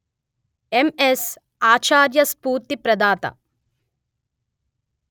MS ఆచార్యస్ఫూర్తి ప్రదాత